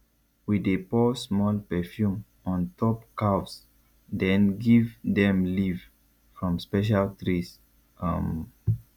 we dey pour small perfume on top calves then give them leave from special trees um